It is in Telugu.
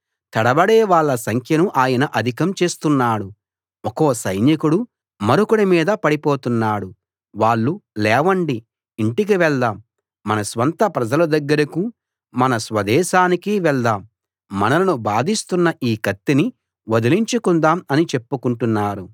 తడబడే వాళ్ళ సంఖ్యను ఆయన అధికం చేస్తున్నాడు ఒక్కో సైనికుడు మరొకడి మీద పడిపోతున్నాడు వాళ్ళు లేవండి ఇంటికి వెళ్దాం మన స్వంత ప్రజల దగ్గరకూ మన స్వదేశానికీ వెళ్దాం మనలను బాధిస్తున్న ఈ కత్తిని వదిలించుకుందాం అని చెప్పుకుంటున్నారు